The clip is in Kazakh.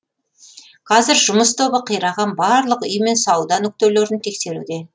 қазір жұмыс тобы қираған барлық үй мен сауда нүктелерін тексеруде